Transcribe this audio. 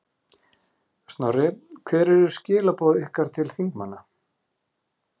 Snorri, hver eru skilaboð ykkar til þingmanna?